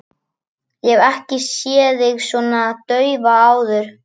Ég hef ekki séð þig svona daufa áður.